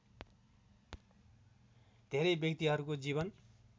धेरै व्यक्तिहरूको जीवन